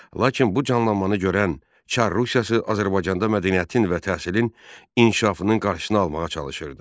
Lakin bu canlanmanı görən Çar Rusiyası Azərbaycanda mədəniyyətin və təhsilin inkişafının qarşısını almağa çalışırdı.